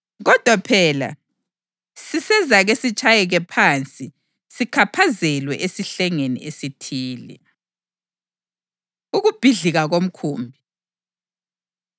Kodwa phela sisezake sitshayeke phansi sikhaphazelwe esihlengeni esithile.” Ukubhidlika Komkhumbi